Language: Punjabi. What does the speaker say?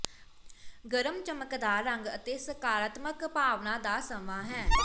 ਗਰਮ ਚਮਕਦਾਰ ਰੰਗ ਅਤੇ ਸਕਾਰਾਤਮਕ ਭਾਵਨਾਵਾਂ ਦਾ ਸਮਾਂ ਹੈ